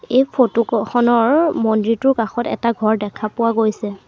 এই ফটো ক খনৰ মন্দিৰটোৰ কাষত এটা ঘৰ দেখা পোৱা গৈছে।